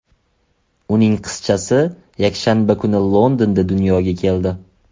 Uning qizchasi yakshanba kuni Londonda dunyoga keldi.